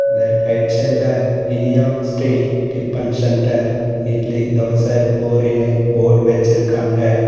இதுல ரைட் சைடுல Iniya Sri tiffin centre idli dosa பூரினு போர்ட் வெச்சிருக்காங்க.